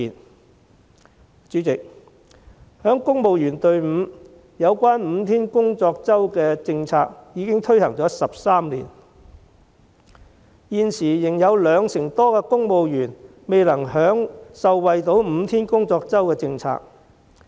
代理主席，在公務員隊伍，有關5天工作周的政策已推行了13年，現時仍有兩成多公務員未能受惠5天工作周的政策。